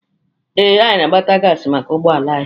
Ee, anyị na-agbata gaasị maka ụgbọala anyị.